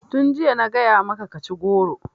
Tun jiya na gaya maka ka ci goro!